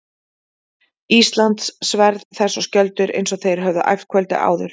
Íslands, sverð þess og skjöldur, eins og þeir höfðu æft kvöldið áður.